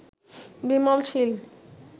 Bimal Shil